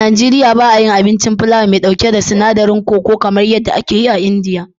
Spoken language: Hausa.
A Najeriya ba a yi abincin filawa mai ɗauke da sinadarin koko (chole bhature), kamar yadda ake yi a India.